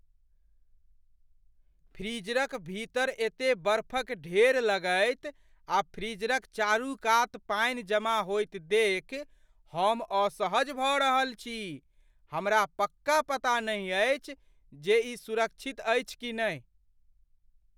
फ्रीजरक भीतर एते बर्फक ढेर लगैत आ फ्रीजरक चारूकात पानि जमा होइत देखि हमअसहज भऽ रहल अछि, हमरा पक्का पता नहि अछि जे ई सुरक्षित अछि कि नहि।